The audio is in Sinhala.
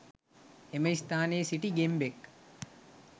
එම ස්ථානයේ සිටි ගෙම්බෙක්